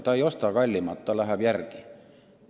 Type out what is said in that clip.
Ta ei osta kallimat kraami, ta läheb odavamale Lätti järele.